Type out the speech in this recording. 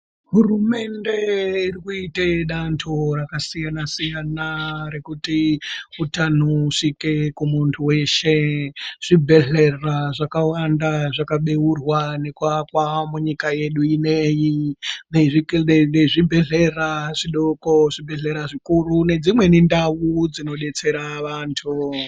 Hurumende irikuita danho rakasiyana siyana rekuti utano usvike kumunhu weshe. Zvibhedhlera zvakawanda zvakabeurwa nekuakwa munyika yedu ineyi nezvibhedhlera zvidoko, zvibhedhlera zvikuru nedzimweniwo ndau dzinodetsera vantu.